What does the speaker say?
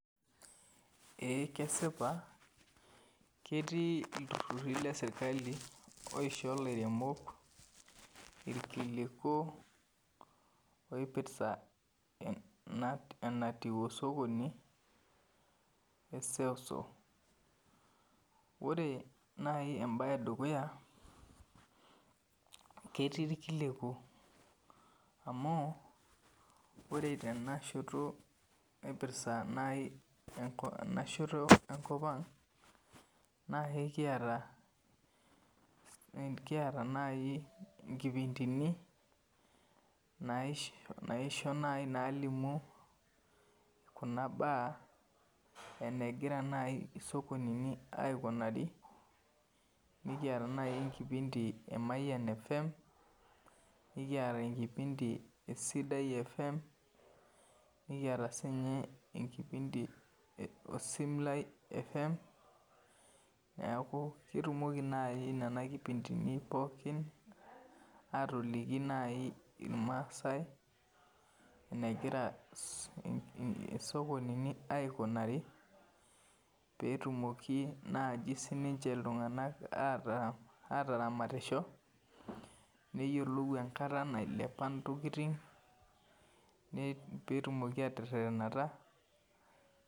Eee kesipa ketii ilturhurhi leserkali oisho ilairemok ilkiliku oipirta enatiu osokoni Ore nai embae edukuya ketii ilkiliku amu ore tenashoto naipirta nai enashoto enkop ang nai kiata nkipindini naisho nai kelimu kuna baa enigira isokonini aikunari nekiata nai enkipindi naji Mayian FM nekiata enkipindi e Sidai FM nekiata siininye enkipindi e Osim lai FM neeku ketimoki nai nena kipindini pookin atoliki nai ilmaasai enegira isokonini aikunari peetumoki naji siininche iltunganak ataramatisho neyiolou enkata nailepa ntokiting peetumoki aterherhrnata